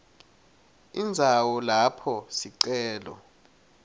indzawo lapho sicelo